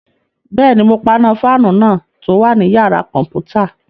Bẹ́ẹ̀ni, mo paná fáànù náà tó wà ní yàrá-kọ̀mpútà